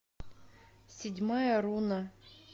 седьмая руна